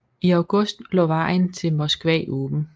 I august lå vejen til Moskva åben